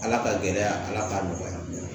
Ala ka gɛlɛya ala k'a nɔgɔya